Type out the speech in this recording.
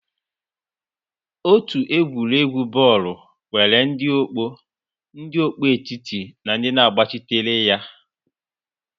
Otu egwuregwu bọọlụ nwere ndị ọkpọ, ndị ọkpọ etiti na ndị na-agbachitere ya.